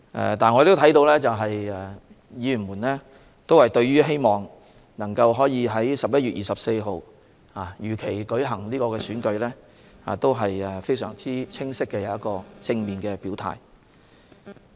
然而，所有議員均對在11月24日如期舉行選舉，作出非常清晰和正面的表態。